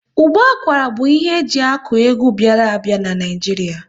Ụbọ akwara bụ ihe eji akụ egwu bịara a bịa n'Naijiria